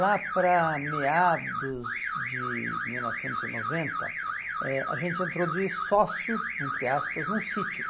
Lá para meados de mil novecentos e noventa, eh, a gente entrou de sócio, entre aspas, num sítio